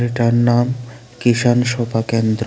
যার নাম কিষান সভা কেন্দ্র।